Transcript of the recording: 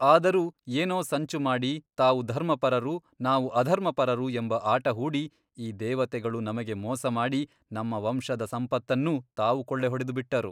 ಆದರೂ ಏನೋ ಸಂಚು ಮಾಡಿ ತಾವು ಧರ್ಮಪರರು ನಾವು ಅಧರ್ಮಪರರು ಎಂಬ ಆಟ ಹೂಡಿ ಈ ದೇವತೆಗಳು ನಮಗೆ ಮೋಸಮಾಡಿ ನಮ್ಮ ವಂಶದ ಸಂಪತ್ತನ್ನೂ ತಾವು ಕೊಳ್ಳೆ ಹೊಡೆದುಬಿಟ್ಟರು.